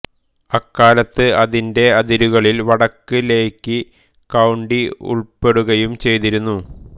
അക്കാലത്ത് അതിന്റെ അതിരുകളിൽ വടക്ക് ലേക് കൌണ്ടി ഉൾപെടുകയും ചെയ്തിരുന്നു